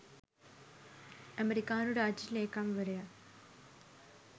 ඇමෙරිකානු රාජ්‍ය ලේකම්වරයා